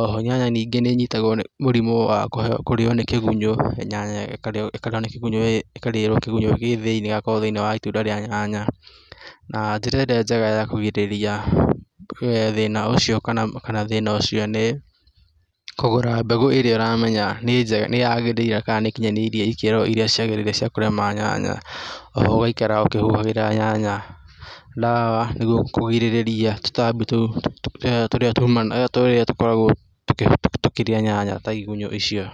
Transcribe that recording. oho nyanya ningĩ nĩnyitagwo nĩ mũrimũ wa kũrĩo nĩ kĩgunyũ, nyanya ĩkarĩo nĩ kĩgunyũ, kĩgunyũ gĩgakorwo thĩinĩ wa itunda rĩa nyanya na njĩra ĩrĩa njega ya kũgirĩrĩria thĩna ũcio kana thĩna ũcio nĩ kũgũra mbegũ ĩrĩa ũramenya nĩ njega nĩ yagĩrĩire kana nĩkinyanĩirie ikĩro iria ciagĩrĩire cia kũrĩma nyanya oho ũgaikara ũkĩhuhagĩra nyanya dawa nĩguo kũgirĩrĩria tũtambi tũu tũrĩa tumanaga tũrĩa tũkoragwo tũkĩrĩa nyanya ta igunyũ icio.